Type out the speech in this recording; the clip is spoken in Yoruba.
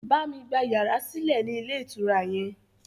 Bámi gba yàrá sílẹ̀ ni ilé ìtura yẹn!